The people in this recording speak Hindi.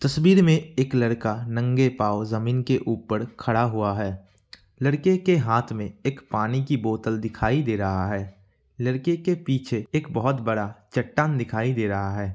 तस्वीर में एक लड़का नंगे पाव ज़मीन के ऊपर खड़ा हुआ है लड़के के हाथ में एक पानी का बोतल दिखाई दे रहा है लड़के के पीछे एक बहोत बड़ा चट्टान दिखाई दे रहा है।